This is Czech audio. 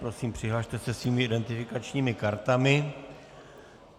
Prosím, přihlaste se svými identifikačními kartami.